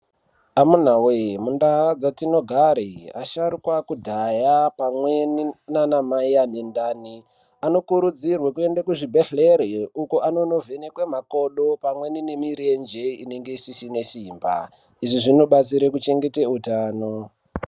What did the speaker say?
Amunawee mundau dzetinogara asharuka ekudhaya pamweni nanamai anendani anokurudzirwe kuenda kuzvibhedhlera uku anonovhenekwa makodo pamweni nemirenje unenge isina simba izvi zvinobatsira kuchengete utano.